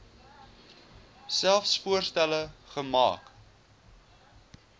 selfs voorstelle maak